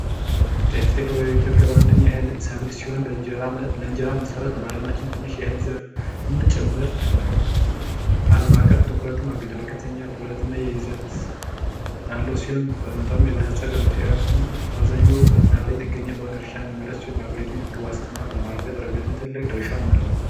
ጤፍት የበበ ኢትዮጵያ በነኛ የህል ሰቪል ሲሆን ለእንጀራን መሠራት ነ በዓለማችም ትንሽ የህል ዘር ም ጭምህርት ነው ዓለም አቀፍም ትኩረትም አግኘታ በከተኛ ብብረት እና የይዘት ያለው ሲሆን በመጣኑም የበለጸገኑ ጤየፉም በአብዛኛው በዝናብ ላይ ጥገኘ በሆነ እርሻ የሚመረት ሲሆን በሀገሪቱን የምግቧስት እና በማርገት ርገትም ትልቅ ድርሻ አለው፡፡